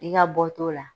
I ka bɔ t'o la